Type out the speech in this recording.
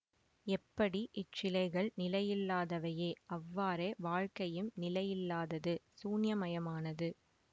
எப்படி இச்சிலைகள் நிலையில்லாதவையே அவ்வாறே வாழ்க்கையிம் நிலையில்லாதது சூன்யமயமானது